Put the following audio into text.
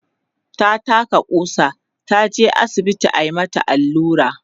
ta taka ƙusa, taje asibiti ayi mata Alura